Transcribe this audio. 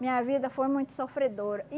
Minha vida foi muito sofredora.